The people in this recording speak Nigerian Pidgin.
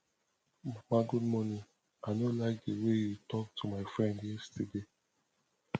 mama good morning i know like the way you talk to my friend yesterday